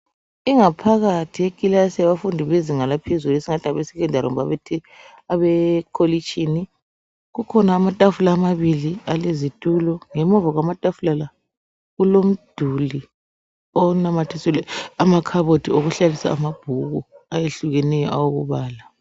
Ingaphakathi yekilasi yabafundi yezinga laphezulu esingathi ngabe sekhondari kumbe abekolitshini. Kukhona amatafula amabili alezitulo. Ngemuva kwamatafula la kulomduli onamathisele amakhabaothi okuhlalisa amabhuku ayehlukeneyo okubala.